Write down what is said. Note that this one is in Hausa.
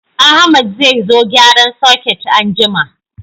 Ahmad zai zo gyaran soket anjima